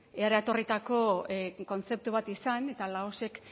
eratorritako kontzeptu bat izan eta laosek